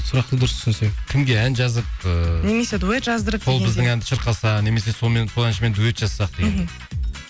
сұрақты дұрыс түсінсек кімге ән жазып ыыы немесе дуэт жаздырып біздің әнді шырқаса немесе сонымен сол әншімен дуэт жазсақ деген мхм